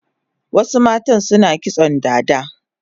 Wasu mata suna kitson dada